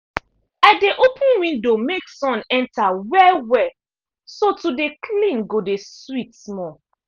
i dey open window make sun enter well-well so to dey clean go de sweet small.